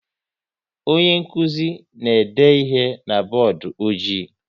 Onye nkụzi na-ede ihe na bọọdụ ọjị